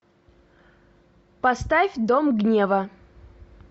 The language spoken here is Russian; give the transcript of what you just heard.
поставь дом гнева